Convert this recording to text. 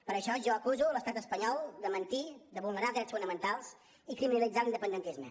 per això jo acuso l’estat espanyol de mentir de vulnerar drets fonamentals i criminalitzar l’independentisme